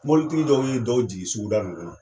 Mobilitigi dɔw bee dɔw jigi suguda nin kɔnɔ.